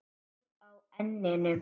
Blóð á enninu.